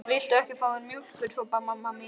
Viltu ekki fá þér mjólkursopa, mamma mín?